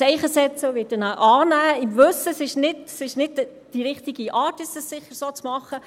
Ich werde ein Zeichen setzen und ihn annehmen, im Wissen darum, dass es sicher nicht die richtige Art ist, es so zu machen.